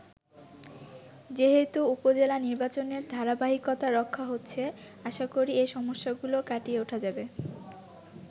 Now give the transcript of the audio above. যেহেতু উপজেলা নির্বাচনের ধারাবাহিকতা রক্ষা হচ্ছে, আশা করি এ সমস্যাগুলো কাটিয়ে উঠা যাবে।